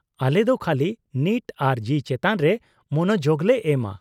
-ᱟᱞᱮ ᱫᱚ ᱠᱷᱟᱹᱞᱤ ᱱᱤᱴ ᱟᱨ ᱡᱤ ᱪᱮᱛᱟᱱ ᱨᱮ ᱢᱚᱱᱚᱡᱳᱜᱞᱮ ᱮᱢᱼᱟ ᱾